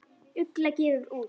Ugla gefur út.